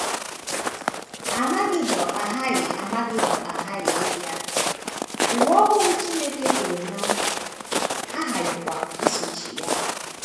Amagedọn aghaghị Amagedọn aghaghị ịbịa, ụwa ọhụrụ Chineke kwere ná nkwa aghaghịkwa isochi ya.